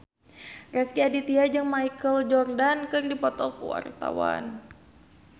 Rezky Aditya jeung Michael Jordan keur dipoto ku wartawan